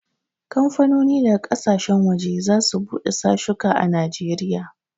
Kamfanoni daga ƙasashen waje za su bude sashuka a Najeriya